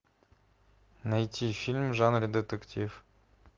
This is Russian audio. найти фильм в жанре детектив